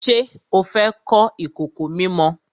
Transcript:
Ṣé o fẹ́ kọ́ ìkòkò mímọ?